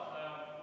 Hea juhataja!